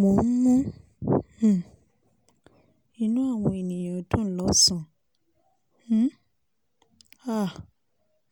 mo ń mú um inú àwọn ènìyàn dùn lọ́sàn um án